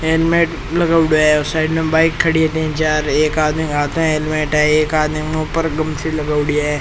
Helmet लगाउडो है और साइड मे बाइक खड़ी है तीन चार एक आदमी के हाथ मे हेल्मेट है एक आदमी के मुंह पर गमचो लगाऊडा है।